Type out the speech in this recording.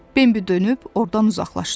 Bembi dönüb oradan uzaqlaşdı.